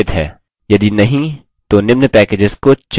जाँचें यदि scim आपके computer में संस्थापित है